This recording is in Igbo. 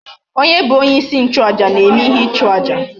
Onye bu onye isi nchu aja na eme ihe ichu aja?